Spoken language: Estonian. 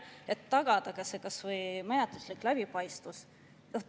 Oleks vaja tagada kas või menetluslik läbipaistvus.